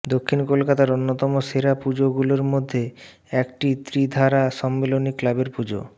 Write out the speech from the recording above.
দক্ষিণ কলকাতার অন্যতম সেরা পুজো গুলোর মধ্যে একটি ত্রিধারা সম্মিলনী ক্লাবের পুজো